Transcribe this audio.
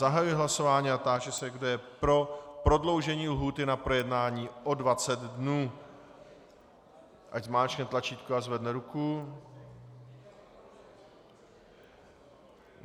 Zahajuji hlasování a táži se, kdo je pro prodloužení lhůty na projednání o 20 dnů, ať zmáčkne tlačítko a zvedne ruku.